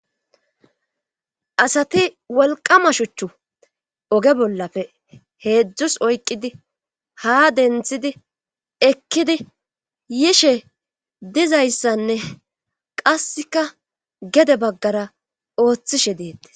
asati wolqama shuchchu oge bollafe heedzdzus oyqidi ha denthidi ekkidi yishe dizayssanne qasseka gede baggara ooththishe deetti